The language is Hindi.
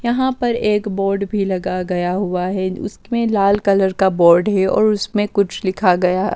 यहां पर एक बोर्ड भी लगा गया हुआ है उसमें लाल कलर का बोर्ड है और उसमें कुछ लिखा गया --